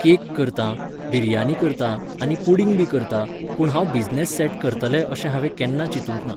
Cake करतां, बिर्यानी करतां आनी पुडिंग बी करतां, पूण हांव बिझनस सेट करतलें अशें हांवें केन्ना चिंतूंक ना.